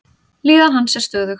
Líðan hans er stöðug.